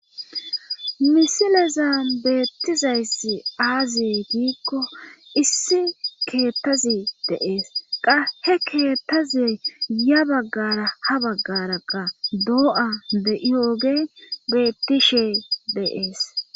misilezan beettizayssi aaziye diikko issi keettazi deees qa he keettaze ya baggara ha baggaraqa doo7a de7iyooge bettishe deees